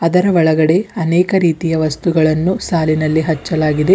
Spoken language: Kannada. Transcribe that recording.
ಇದರ ಒಳಗಡೆ ಅನೇಕ ರೀತಿಯ ವಸ್ತುಗಳನ್ನು ಸಾಲಿ ನಲ್ಲಿ ಹಚ್ಚಲಾಗಿದೆ.